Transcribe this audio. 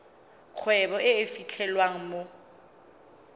kgwebo e e fitlhelwang mo